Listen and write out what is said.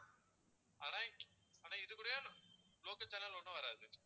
ஆனா ஆனா இது கூடயும் local channel ஒண்ணும் வராது